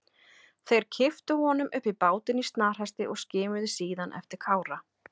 Þeir kipptu honum upp í bátinn í snarhasti og skimuðu síðan eftir Kára.